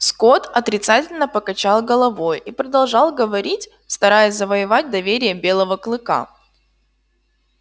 скотт отрицательно покачал головой и продолжал говорить стараясь завоевать доверие белого клыка